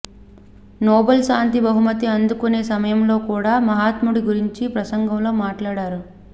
Nobel శాంతి బహుమతి అందుకొనే సమయంలో కూడా మహాత్ముడి గురించి ప్రసంగంలో మాట్లాడారు